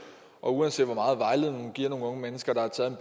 og uanset hvor meget vejledning giver nogle unge mennesker der har taget